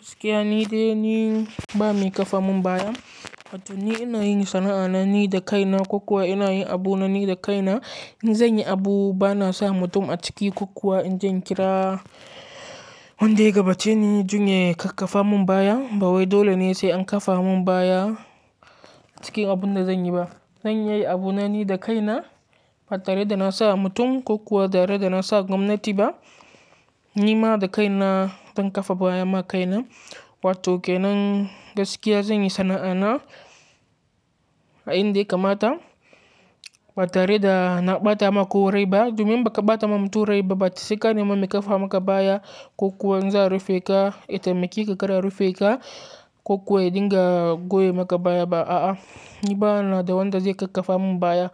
Gaskiya ni dai ni ba mai kafa mun baya. To ni ina yin sana'a na ni da kaina ko kuwa ina yi abu na ni da kaina. In zan yi abu bana sa mutum a ciki ko kuwa in jan kira wanda ya gabace ni, jin ye kakkafa mun baya. Bawai dole ne sai an kafa mun baya cikin abun da zan yi ba. Zan iya yi abu na ni da kaina ba tare da na sa mutum ko kuwa ba tare da na sa gwamnati ba. Ni ma da kaina zan kafa baya ma kaina. Wato ke nan gaskiya zan yi sana'a na a inda ya kamata ba tare da na ɓata ma ko rai ba. Domin ba ka ɓata ma mutum rai ba, baki saka ne mun mai kafa maka baya ko kuwa zan rufe ka, ita mai kika kada rufe ka ko kuwa dinga goye maka baya ba. A'a, ni bana da wanda zai kafa mun baya.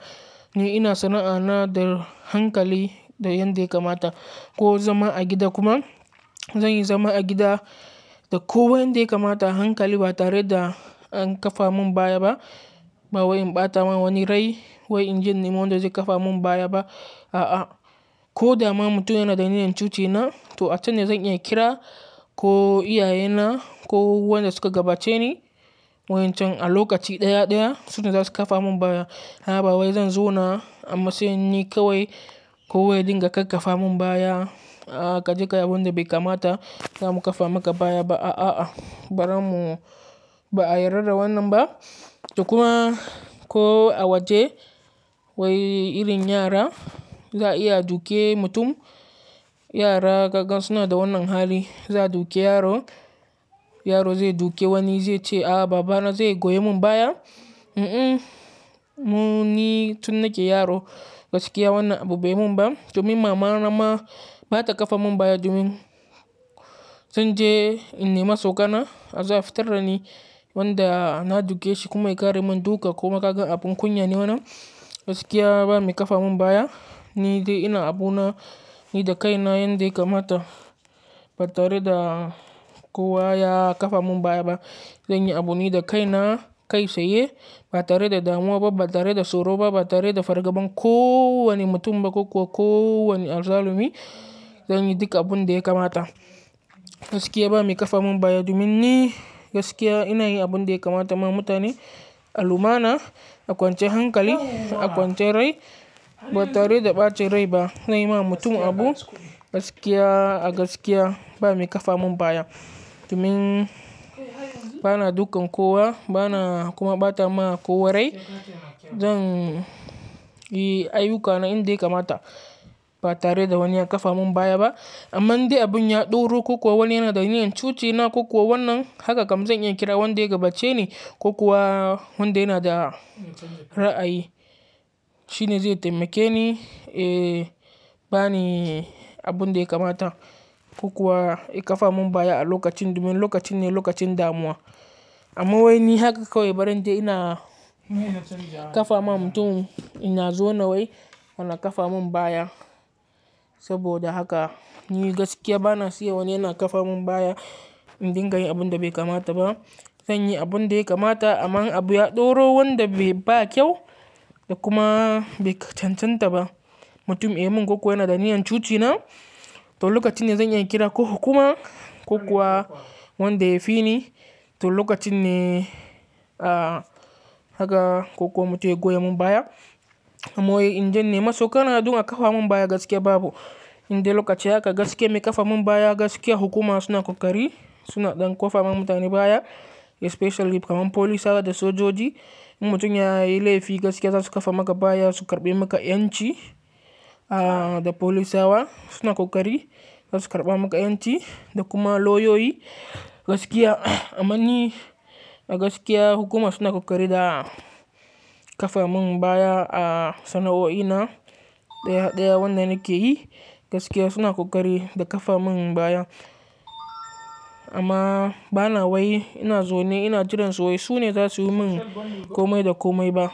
Ni ina sana'a na da hankali da yadda ya kamata ko zama a gida kuma zan yi zama a gida da kowa yadda ya kamata a hankali ba tare da an kafa mun baya ba. Bawai in ɓata ma wani rai wai inje in nemi wanda zai kafa mun baya ba. A'a, ko dama mutum yana da niyyan cuci na to atane zan iya kira ko iyaye na ko wanda suka gabace ni wancan a lokaci ɗaya ɗaya su ne za su kafa mun baya. Haba wai zan zo na amma sai ni kawai ko waye dinga kafa mun baya. A'a ka jiƙa abun da bai kamata za mu kafa maka baya ba. A'a, a'a bari mu ba a yarda da wannan ba. Da kuma ko a waje wai irin yara za iya dukiya mutum. Yara gangan suna da wannan hali, za a duke yaro, yaro zai duke wani zai ce a'a baba na zai goye mun baya. Un-um mu ne tun nake yaro gaskiya wannan abu bai mun ba. Domin mama na ma ba ta kafa mun baya domin zan je in nema sokana. A zo a fitar da ni wanda na duke shi kuma ya ƙare mun duka ko ma gangan abin kunya ne wannan. Gaskiya ba mai kafa mun baya ni dai ina abu na ni da kaina yanda ya kamata ba tare da kowa ya kafa mun baya ba. Zan yi abu ni da kaina kai tsa ye ba tare da damuwa ba, ba tare da tsoro ba, ba tare da fargaban ko wane mutum ba ko kuwa ko wane azzalumi. Zan yi duka abun da ya kamata. Gaskiya ba mai kafa mun baya domin ni gaskiya ina yi abun da ya kamata ma mutane a lumana, a kwance hankali, a kwance rai ba tare da ɓacin rai ba. Na yi ma mutum abu gaskiya a gaskiya ba mai kafa mun baya. Domin bana dukan kowa bana kuma ɓata ma kowa rai. Zan yi ayuka na inda ya kamata ba tare da wani ya kafa mun baya ba. Amma indai abun ya ɗoru ko kuwa wani yana da niyyan cuce na ko kuwa wannan haka kam zan iya kira wanda ya gabace ni ko kuwa wanda yana da ra'ayi shine zai taimake ni, eh ba ni abun da ya kamata ko kuwa ya kafa mun baya a lokacin domin lokacin ne lokacin damuwa. Amma wai ni haka kawai bari dai ina kafa ma mutum ina zo na wai kana kafa mun baya. Saboda haka ni gaskiya bana siyan wani yana kafa mun baya in dinga yin abun da bai kamata ba. Zan yi abun da ya kamata amma abu ya ɗoro wanda bai ba kyau da kuma bai cancanta ba, mutum ya yi mun ko kuwa yana da niyyan cuci na to lokacin ne zan iya kira ko hukuma ko kuwa wanda ya fi ni to lokacin ne a haka ko kuwa mutum ya goye mun baya. Amma wai inji ne maso kana duba kafa mun baya gaskiya babu. Inda lokaci haka gaskiya mai kafa mun baya gaskiya hukuma suna ƙoƙari suna ɗan ƙofar ma mutane baya especially kamar polisawa da sojoji. In mutum ya yi laifi gaskiya za su kafa maka baya su karɓe maka ƴanci a da polisawa suna ƙoƙari za su karɓa maka ƴanci da kuma lauyoyi. Gaskiya amma ni a gaskiya hukuma suna ƙoƙari da kafa mun baya a sana'o'i na ɗaya ɗaya wanda nake yi gaskiya suna ƙoƙari da kafa mun baya. Amma bana wai ina zoni ina jiran su wai su ne za su yi mun komai da komai ba.